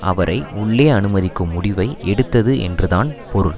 அவரை உள்ள அனுமதிக்கும் முடிவை எடுத்தது என்றுதான் பொருள்